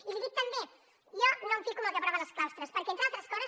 i li dic també jo no em fico en el que aproven els claustres perquè entre altres coses